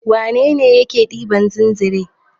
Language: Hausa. Wane ne yake ɗiban zinzre?